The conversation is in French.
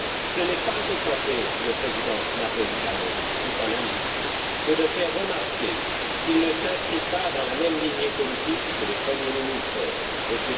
Ce n'est pas offenser le président Napolitano, qui est un ami, que de faire remarquer qu'il ne s'inscrit pas dans la même ligne politique que le premier ministre M.